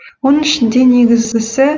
оның ішінде негізгісі